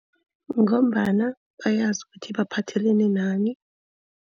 Ngombana bayazi ukuthi baphathelene nani.